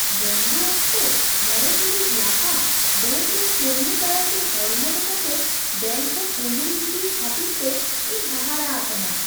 ᱵᱚᱱᱫᱚ ᱚᱠᱛᱚ ᱕ ᱴᱤᱲᱤᱡ ᱞᱟᱦᱟ ᱵᱮᱹᱝᱠ ᱨᱮᱱ ᱠᱟᱹᱢᱤᱭᱟᱹ ᱫᱟᱨᱟᱭᱛᱮ ᱦᱚᱲᱢᱚ ᱞᱮᱠᱟᱛᱮ ᱵᱮᱹᱝᱠ ᱠᱷᱚᱱ ᱩᱰᱩᱠ ᱜᱤᱰᱤ ᱠᱷᱟᱹᱛᱤᱨᱛᱮ ᱤᱧ ᱦᱟᱦᱟᱲᱟᱜ ᱟᱠᱟᱱᱟ ᱾